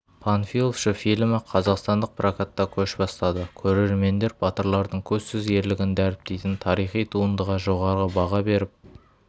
панфиловшы фильмі қазақстандық прокатта көш бастады көрермендер батырлардың көзсіз ерлігін дәріптейтін тарихи туындыға жоғары баға беріп